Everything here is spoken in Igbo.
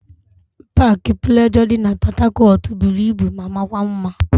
Paakị Plejọọ dị na Pọtakọtụ buru ibu ma makwa mma.